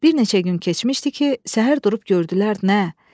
Bir neçə gün keçmişdi ki, səhər durub gördülər nə?